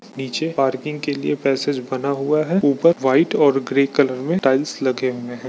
नीचे पार्किंग के लिए पैसेज बना हुआ है ऊपर वाइट और ग्रे कलर में टाइल्स लगे हुए हैं।